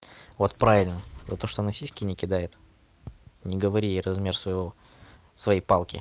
вот правильно за то что она сиськи не кидает не говори ей размер своего своей палки